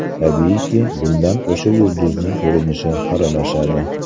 Tabiiyki, bundan o‘sha yulduzning ko‘rinishi xiralashadi.